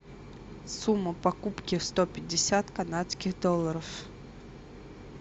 сумма покупки сто пятьдесят канадских долларов